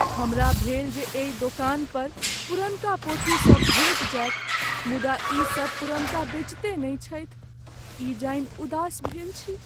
हमरा भेल जे एहि दोकान पर पुरनका पोथीसब भेटि जायत मुदा ई सब पुरनका बेचिते नहि छथि, ई जानि उदास भेल छी ।